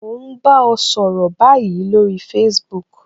Mo n bá ọ sọ̀rọ̀ báyìí lórí Facebook